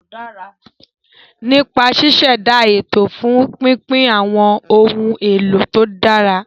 Nípa ṣíṣẹ̀dá ètò fún pínpín àwọn ohun èlò tó dára.